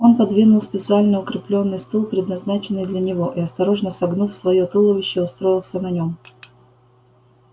он подвинул специально укреплённый стул предназначенный для него и осторожно согнув своё туловище устроился на нём